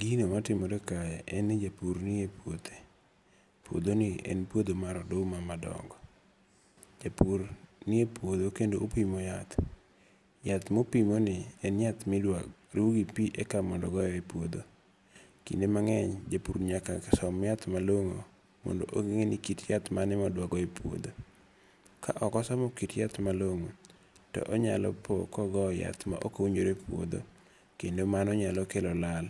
Gino matimore kae en ni japur ni e puothe. Puodho ni en puodho mar oduma madongo. Japur ni e puodho kendo opimo yath. Yath mopimo ni en yath midwa ru gi pi eka mondo ogoye e puodho. Kinde mang'eny japur nyaka som yath malong'o. Mondo ong'e ni kit yath mane modwa goyo e puodho. Ka ok osomo kit yath malong'o to onyalo po kogo yath ma ok owinjore e puodho. Kendo mano nyalo kelo lal